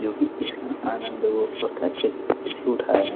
जो कि इस आनंद वो बहुत अच्छे तरीके से उठा रहे हैं।